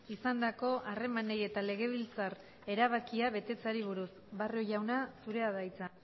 izandako harremanei eta legebiltzar erabakia betetzeari buruz barrio jauna zurea da hitza